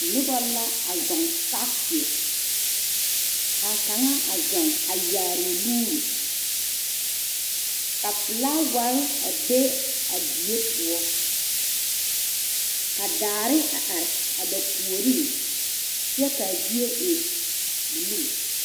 Noba la a zɔŋ saakeɛ ka kaŋa a zuŋ a yaare o nuuri ka filawari a be a die poɔ ka daare a are a ba puoriŋ kyɛ k,a zie e bulu.